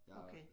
Okay